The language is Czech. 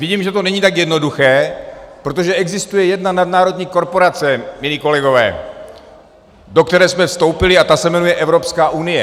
Vidím, že to není tak jednoduché, protože existuje jedna nadnárodní korporace, milí kolegové, do které jsme vstoupili, a ta se jmenuje Evropská unie.